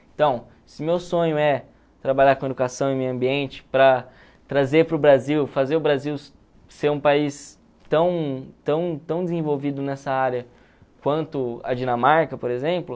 Então, se meu sonho é trabalhar com educação e meio ambiente para trazer para o Brasil, fazer o Brasil ser um país tão tão tão desenvolvido nessa área quanto a Dinamarca, por exemplo,